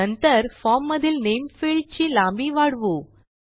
नंतर फॉर्म मधील नामे फील्ड ची लांबी वाढवू